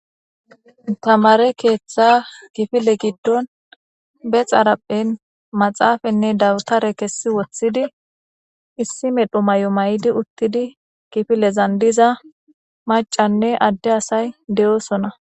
tamare keeththa kifile giddon be xarapphen maxaafanne dawutare kessi woththidi issi medho may7o may7di uttidi kifilezandiza macanne adde asay de7oosona